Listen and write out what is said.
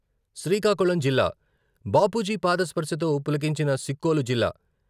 శ్రీకాకుళం జిల్లా...బాపూజీ పాద స్పర్శతో పులకించిన సిక్కోలు జిల్లా.